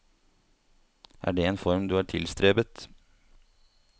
Er det en form du har tilstrebet?